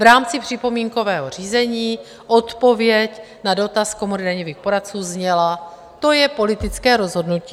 V rámci připomínkového řízení odpověď na dotaz Komory daňových poradců zněla: To je politické rozhodnutí.